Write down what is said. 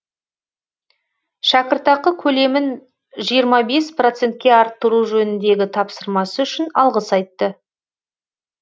шәкіртақы көлемін жиырма бес процентке арттыру жөніндегі тапсырмасы үшін алғыс айтты